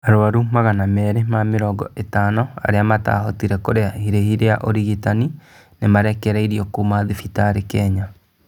Arũaru magana meri ma mirongo itano arĩa mataahotire kũrĩha irĩhi rĩa ũrigitani nĩ marekereirio kuma thibitarĩ Kenya